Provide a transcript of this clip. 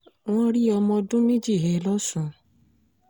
wọ́n rí ọmọ ọdún méjì he lọ́sùn